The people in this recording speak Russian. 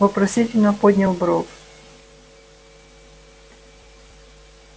вопросительно поднял бровь